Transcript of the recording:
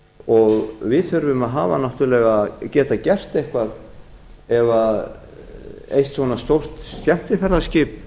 og við þurfum að hafa náttúrlega geta gert eitthvað ef eitt svona stórt skemmtiferðaskip